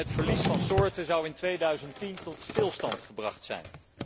En het verlies van soorten zou in 2010 tot stilstand gebracht zijn.